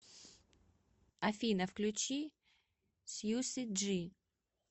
афина включи сьюси джи